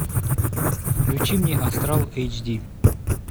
включи мне астрал эйч ди